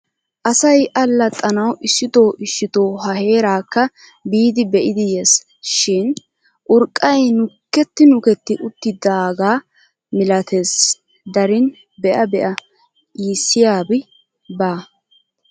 Asay allaxxanawu issitoo issitoo ha heeraakka biidi be'idi yes. Shin urqqay nuketti nuketti uttidaagaa milates darin be'a be'a iissiyabi baa.